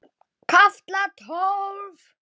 KAFLI TÓLF